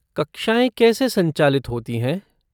कक्षाएँ कैसे संचालित होती हैं?